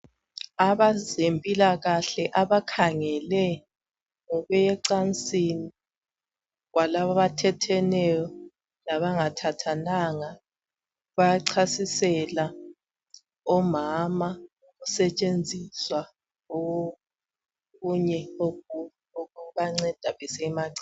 Abezempilakahle abakhangele ngokuya ecansini kwalabo abathetheneyo labangathathananga bayachasisela omama ngokusetshenziswa kokunye okubanceda besiya emacansini.